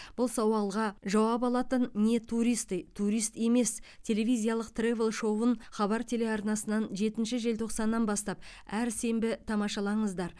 бұл сауалға жауап алатын не туристы турист емес телевизиялық тревел шоуын хабар телеарнасынан жетінші желтоқсаннан бастап әр сенбі тамашалаңыздар